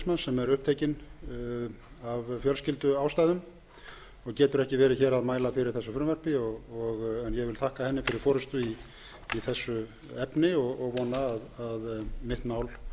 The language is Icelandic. sem er upptekinn af fjölskylduástæðum og getur ekki verið hér að mæla fyrir þessu frumvarpi en ég vil þakka henni fyrir forustu í þessu efni og vona að hún